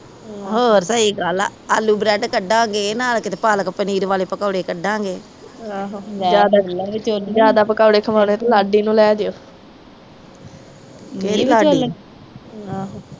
ਹੋਰ ਸਹੀ ਗੱਲ ਆ ਆਲੂ ਬਰੈੱਡ ਕੱਢਾਗੇ ਨਾਲ ਕਿਤੇ ਪਾਲਕ ਪਨੀਰ ਵਾਲੇ ਪਕੌੜੇ ਕੱਢਾਗੇ ਜਿਆਦਾ ਪਕੌੜੇ ਖਵੋਨੇ ਤੇ ਲਾਡੀ ਨੂੰ ਲੈ ਜਾਇਓ ਕਿਹੜੀ ਲਾਡੀ